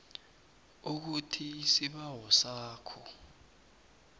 ukuthi isibawo sakho